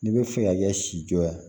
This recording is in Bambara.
N'i bɛ fɛ ka kɛ si jɔ ye